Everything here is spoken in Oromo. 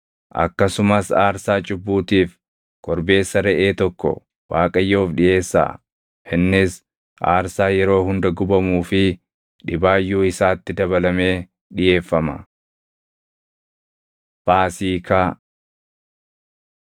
Akkasumas aarsaa cubbuutiif korbeessa reʼee tokko Waaqayyoof dhiʼeessaa; innis aarsaa yeroo hunda gubamuu fi dhibaayyuu isaatti dabalamee dhiʼeeffama. Faasiikaa 28:16‑25 kwf – Bau 12:14‑20; Lew 23:4‑8; KeD 16:1‑8